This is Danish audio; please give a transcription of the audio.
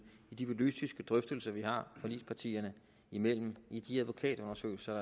i de politiske drøftelser vi har forligspartierne imellem i de advokatundersøgelser